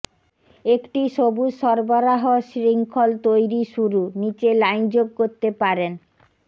একটি সবুজ সরবরাহ শৃঙ্খল তৈরি শুরু নীচে লাইন যোগ করতে পারেন